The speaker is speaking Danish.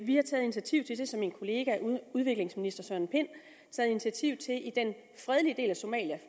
vi har taget initiativ til det er så min kollega udviklingsministeren i den fredelige del af somalia